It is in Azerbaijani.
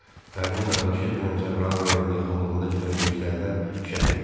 Pərrinin qardaşı dünən Cəbrayıl rayonuna yaxınlığında gedən döyüşlərdə şəhid olub.